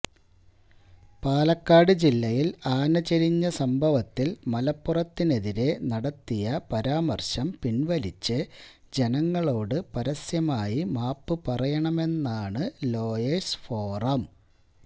പാലക്കാട് ജില്ലയില് ആന ചരിഞ്ഞ സംഭവത്തില് മലപ്പുറത്തിനെതിരെ നടത്തിയ പരാമര്ശം പിന്വലിച്ച് ജനങ്ങളോട് പരസ്യമായി മാപ്പ് പറയണമെന്നാണ് ലോയേഴ്സ് ഫോറം